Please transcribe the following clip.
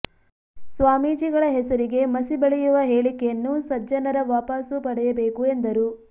ಸ್ವಾಮೀಜಿಗಳ ಹೆಸರಿಗೆ ಮಸಿ ಬಳಿಯವ ಹೇಳಿಕೆಯನ್ನು ಸಜ್ಜನರ ವಾಪಸ್ಸು ಪಡೆಯಬೇಕು ಎಂದರು